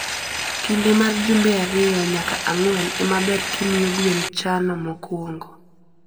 kinde mar jumbe ariyo nyaka ang'wen ema ber kimiyo gwen chano mokwongo.